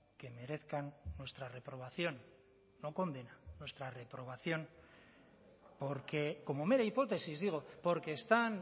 que merezcan nuestra reprobación no condena nuestra reprobación porque como mera hipótesis digo porque están